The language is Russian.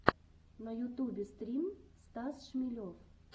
на ютюбе стрим стас шмелев